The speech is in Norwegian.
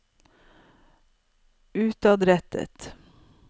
utadrettet